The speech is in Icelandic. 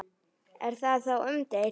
Er það þó umdeilt